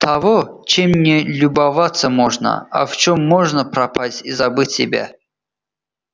того чем не любоваться можно а в чём можно пропасть и забыть себя